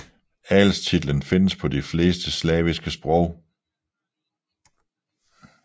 Adelstitlen findes på de fleste slaviske sprog